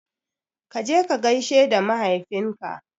Kaje ka gaishe da mahaifin ka